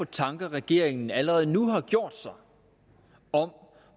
tanker regeringen allerede nu har gjort sig om